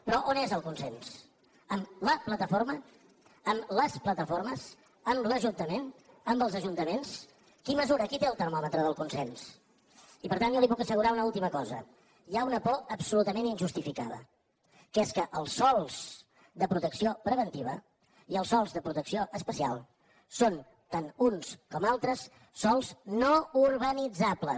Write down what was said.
però on és el consens amb la plataforma amb les plataformes amb l’ajuntament amb els ajuntaments qui mesura qui té el termòmetre del consens i per tant jo li puc assegurar una última cosa hi ha una por absolutament injustificada que és que els sòls de protecció preventiva i els sòls de protecció especial són tant els uns com els altres sòls no urbanitzables